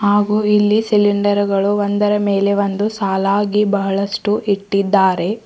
ಹಾಗೂ ಇಲ್ಲಿ ಸಿಲೆಂಡರ್ ಗಳು ಒಂದರ ಮೇಲೆ ಒಂದು ಸಾಲಾಗಿ ಬಹಳಷ್ಟು ಇಟ್ಟಿದ್ದಾರೆ.